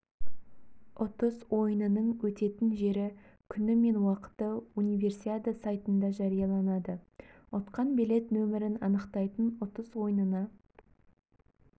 ұтыс ойынының өтетін жері күні мен уақыты универсиада сайтында жарияланады ұтқан билет нөмірін анықтайтын ұтыс ойынына